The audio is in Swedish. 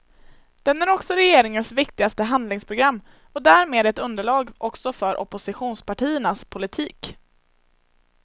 Den är också regeringens viktigaste handlingsprogram och därmed ett underlag också för oppositionspartiernas politik.